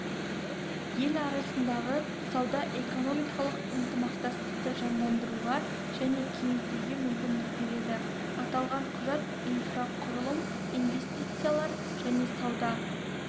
ел арасындағы сауда-экономикалық ынтымақтастықты жандандыруға және кеңейтуге мүмкіндік береді аталған құжат инфрақұрылым инвестициялар және сауда